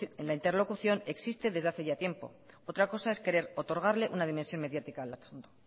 la interlocución existe desde hace ya tiempo otra cosa es querer otorgarle una dimensión mediática al asunto